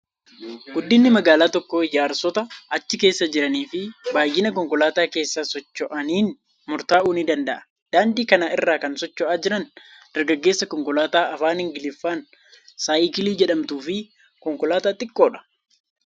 Guddinni magaalaa tokkoo ijaarsota achi keessa jiranii fi baay'ina konkolaattota keessa socho'aniin murtaa'uu ni danda'a. Daandii kana irra kan socho'aa jiran dargaggeessa konkolaataa afaan Ingiliffaan Saayikilii jedhamtuu fi konkolaataa xiqqoodha.